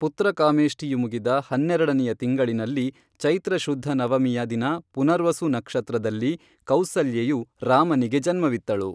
ಪುತ್ರಕಾಮೇಷ್ಟಿಯು ಮುಗಿದ ಹನ್ನೆರಡನೆಯ ತಿಂಗಳಿನಲ್ಲಿ ಚೈತ್ರಶುದ್ಧ ನವಮಿಯ ದಿನ ಪುನರ್ವಸು ನಕ್ಷತ್ರದಲ್ಲಿ ಕೌಸಲ್ಯೆಯು ರಾಮನಿಗೆ ಜನ್ಮವಿತ್ತಳು